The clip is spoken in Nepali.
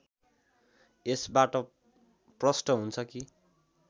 यसबाट प्रष्ट हुन्छ कि